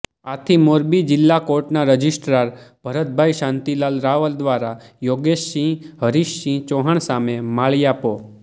આથી મોરબી જિલ્લા કોર્ટના રજિસ્ટ્રાર ભરતભાઇ શાંતિલાલ રાવલ દ્વારા યોગેશસિંહ હરીશસિંહ ચૌહાણ સામે માળીયા પો